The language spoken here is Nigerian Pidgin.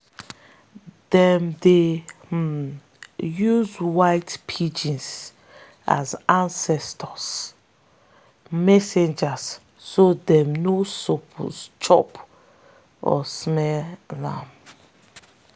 them dey um see white pigeons as ancestors' messengers so them no suppose chop or sell am.